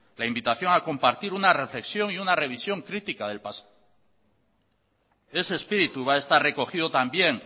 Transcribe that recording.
la invitación a compartir una reflexión y una revisión crítica del pasado ese espíritu va a estar recogido también